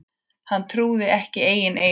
Hann trúði ekki eigin eyrum.